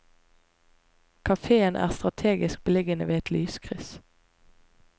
Kafeen er strategisk beliggende ved et lyskryss.